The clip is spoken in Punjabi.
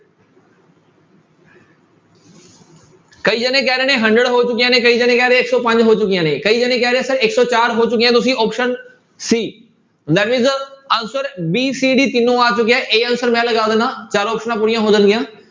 ਕਈ ਜਾਣੇ ਕਹਿ ਰਹੇ ਨੇ hundred ਹੋ ਚੁੱਕੀਆਂ ਨੇ ਕਈ ਜਾਣੇ ਕਹਿ ਰਹੇ ਆ ਇੱਕ ਸੌ ਪੰਜ ਹੋ ਚੁੱਕੀਆਂ ਨੇ ਕਈ ਜਾਣੇ ਕਹਿ ਰਹੇ ਆ sir ਇੱਕ ਸੌ ਚਾਰ ਹੋ ਚੁੱਕੀਆਂ ਤੁਸੀਂ option c, that means answer b, c, d ਤਿੰਨੋ ਆ ਚੁੱਕਿਆ a answer ਮੈਂ ਲਗਾ ਦਿਨਾ ਚਾਰ ਆਪਸਨਾਂ ਪੂਰੀਆਂ ਹੋ ਜਾਣਗੀਆਂ।